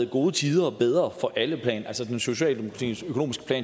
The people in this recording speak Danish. gode tider bedre for alle altså socialdemokratiets økonomiske